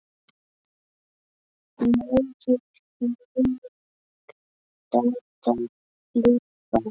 Megi minning Dadda lifa.